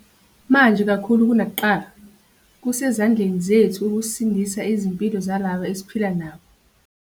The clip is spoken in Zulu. Manje kakhulu kunakuqala, kusezandleni zethu ukusindisa izimpilo zalabo esiphila nabo.